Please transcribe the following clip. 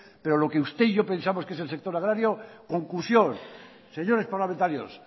pero lo que usted y yo pensamos que es el sector agrario conclusión señores parlamentarios